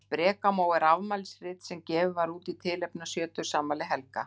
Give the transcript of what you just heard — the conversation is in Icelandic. Á sprekamó er afmælisrit sem gefið var út í tilefni af sjötugsafmæli Helga.